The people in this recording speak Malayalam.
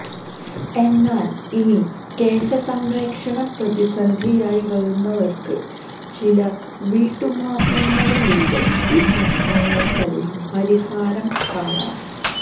എന്നാല് ഇനി കേശസംരക്ഷണം പ്രതിസന്ധിയായി വരുന്നവര്ക്ക് ചില വീട്ടുമാര്ഗ്ഗങ്ങളിലൂടെ ഈ പ്രശ്നങ്ങള്ക്കെല്ലാം പരിഹാരം കാണാം